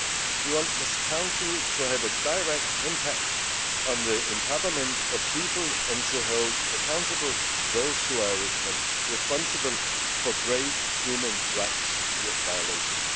We want this Council to have a direct impact on the empowerment of people and to hold accountable those who are responsible for grave human rights violations.